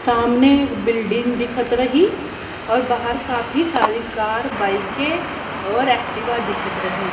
सामने एक बिल्डिंग दिखत रही और बाहर काफी सारी कार बाइके के और एक्टिवा दिखत रही।